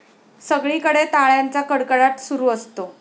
सगळीकडे टाळ्यांचा कडकडाट सुरू असतो.